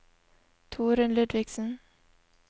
Torunn Ludvigsen